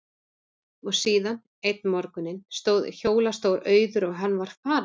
Og síðan, einn morguninn, stóð hjólastóll auður og hann var farinn.